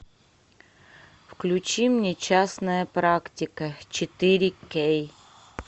включи мне частная практика четыре кей